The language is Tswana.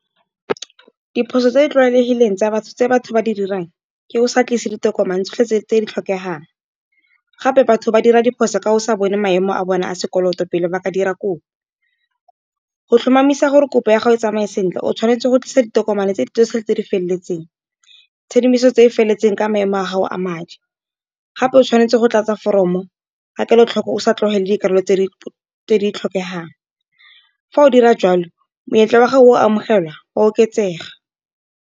Diphoso tse di tlwaelegileng tsa batho tse batho ba di dirang, ke o sa tlise ditokomane tsotlhe tse tse di tlhokegang. Gape batho ba dira diphoso ka o sa bone maemo a bone a sekoloto pele ba ka dira kopo. Go tlhomamisa gore kopo ya ga o tsamaye sentle, o tshwanetse go tlisa ditokomane tse di tse di feleletseng, tshedimoso tse di feleletseng ka maemo a gago a madi. Gape o tshwanetse go tlatsa foromo ga kelotlhoko o sa tlogele dikarolo tse di tlhokegang, fa o dira jalo monyetla wa gago wa go amogela oa oketsega.